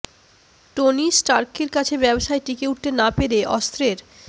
Tony স্টার্কের কাছে ব্যবসায় টিকে উঠতে না পেরে অস্ত্রের